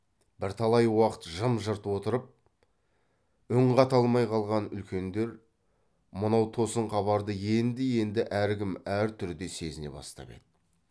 бірталай уақыт жым жырт отырып үн қата алмай қалған үлкендер мынау тосын хабарды енді енді әркім әр түрде сезіне бастап еді